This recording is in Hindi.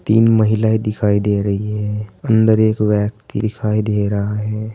तीन महिलाएं दिखाई दे रही है अंदर एक व्यक्ति दिखाई दे रहा है।